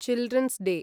children's day